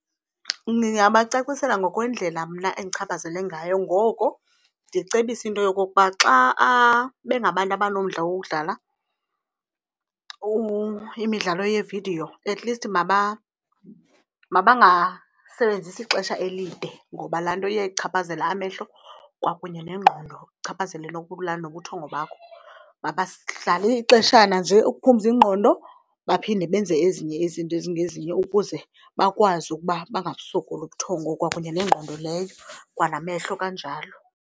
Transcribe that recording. Ndingabacacisela ngokwendlela mna endichaphazele ngayo, ngoko ndicebise into yokokuba xa bengabantu abanomdla wokudlala imidlalo yeevidiyo atleast mabangasebenzisi ixesha elide ngoba laa nto iyayichaphazela amehlo kwakunye nengqondo, ichaphazele nokulala nobuthongo bakho. Mabadlale ixeshana nje ukuphumza ingqondo baphinde benze ezinye izinto ezingezinye ukuze bakwazi ukuba bangasokoli ubuthongo kwakunye nengqondo leyo kwanamehlo kanjalo.